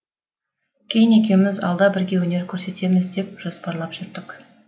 кейін екеуміз алда бірге өнер көрсетеміз деп жоспарлап жүрдік